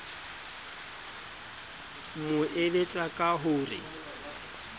mo eletsa ka ho re